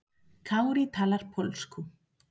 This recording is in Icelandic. Kári talar pólsku.